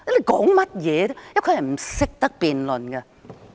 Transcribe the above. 局長是不懂得辯論的。